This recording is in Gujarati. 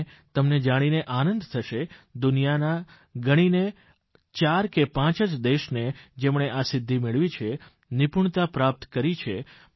અને તમને જાણીને આનંદ થશે દુનિયાના ગણીને પાંચ કે પાંચ જ દેશને જેમણે આ સિદ્ધિ મેળવી છે નિપુણતા પ્રાપ્ત કરી છે